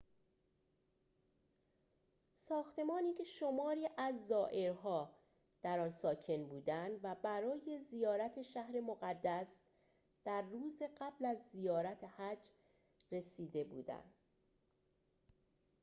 ساختمانی که شماری از زائرها در آن ساکن بودند و برای زیارت شهر مقدس در روز قبل از زیارت حج رسیده بودند